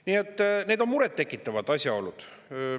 Nii et need on muret tekitavad asjaolud.